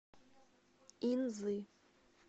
инзы